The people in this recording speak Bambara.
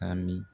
A mi